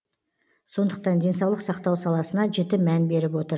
сондықтан денсаулық сақтау саласына жіті мән беріп отыр